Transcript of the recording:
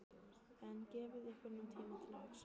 En gefið ykkur nú tíma til að hugsa.